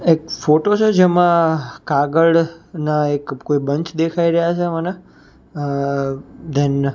એક ફોટો છે જેમાં કાગળના એક કોઈ બન્ચ દેખાય રહ્યા છે મને અ ધેન --